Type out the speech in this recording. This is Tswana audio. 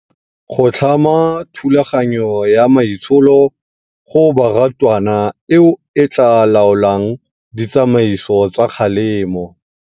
Go tlhama thulaganyo ya maitsholo go barutwana eo e tla laolang ditsamaiso tsa kgalemo.